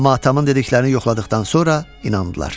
Amma atamın dediklərini yoxladıqdan sonra inandılar.